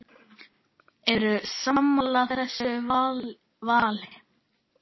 Eru sammála þessu vali?